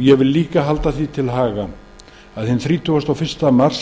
ég vil einnig halda því til haga að hinn þrítugasta og fyrsta mars